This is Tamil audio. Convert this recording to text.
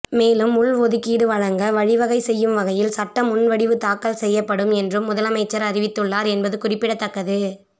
மேலும் உள்ஒதுக்கீடு வழங்க வழிவகை செய்யும் வகையில் சட்ட முன்வடிவு தாக்கல் செய்யப்படும் என்றும் முதலமைச்சர் அறிவித்துள்ளார் என்பது குறிப்பிடத்தக்கது